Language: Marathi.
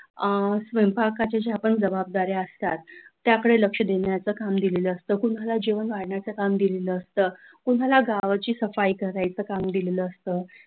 अ स्वयंपाकाचे जे पण जबाबदाऱ्या असतात त्याकडे लक्ष देण्याचं काम दिलेलं असतं, कुणाला जेवण वाढायचं काम दिलेलं असतं, कोणाला गावाची सफाई करयच काम दिलेलं असतं,